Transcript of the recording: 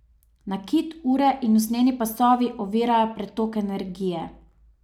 Nakit, ure in usnjeni pasovi ovirajo pretok energije.